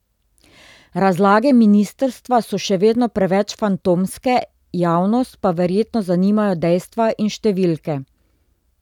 Razlage ministrstva so še vedno preveč fantomske, javnost pa verjetno zanimajo dejstva in številke.